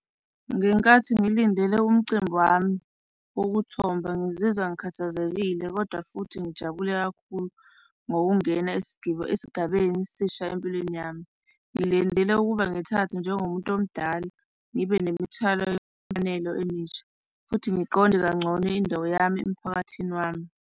Ngenkathi ngilindele umcimbi wami wokuthomba ngizizwa ngikhathazekile, kodwa futhi ngijabule kakhulu ngokungena esigabele esisha empilweni yami, ngilendele ukuba ngithathe njengomuntu omdala. Ngibe nemithwalo wemfanelo emisha futhi ngiqonde kangcono indawo yami emphakathini wami.